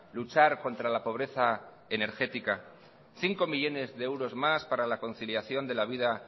luchar contra la pobreza energética cinco millónes de euros más para la conciliación de la vida